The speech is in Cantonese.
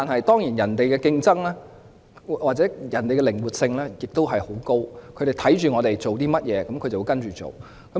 當然，人家的競爭力或靈活性亦很高，他們看到我們做甚麼工作，便會跟隨。